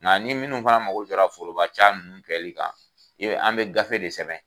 Nga ni munnu fana mago jɔra foroba ca nunnu kɛli kan ,an be gafe de sɛbɛn.